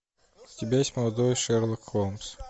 у тебя есть молодой шерлок холмс